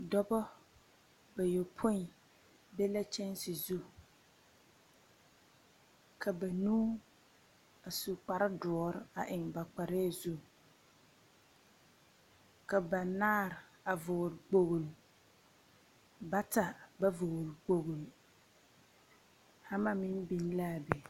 Dɔba bayɔpõĩ be la kyɛnse zu. Ka banuu, a su kparedoɔre a eŋ ba kparɛɛ zu. Ka banaare a vɔgle kpogli, bata ba vɔgle kpogli. Hama meŋ biŋ laa be.